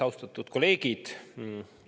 Austatud kolleegid!